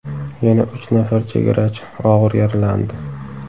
Yana uch nafar chegarachi og‘ir yaralandi.